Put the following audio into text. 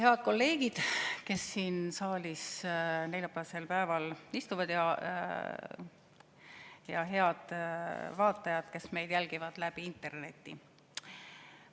Head kolleegid, kes siin saalis neljapäevasel päeval istuvad, ja head vaatajad, kes meid jälgivad läbi interneti!